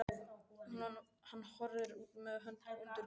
Hann horfir út með hönd undir kinn.